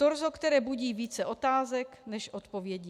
Torzo, které budí více otázek než odpovědí.